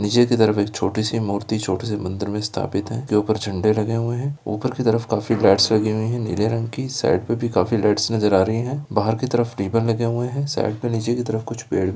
निचे की तरफ एक छोटी सी मूर्ति छोटी सी मंदिर में स्थापित है इसके ऊपर झंडे लगे हुए हैं ऊपर की तरफ काफी लाइट्स लगी हुई हैं नीले रंग की साईड पे भी काफी लाइट्स नजर आ रहीं हैं बाहर की तरफ रिबन्स लगे हुए हैं साईड में निचे की तरफ कुछ पेड़ --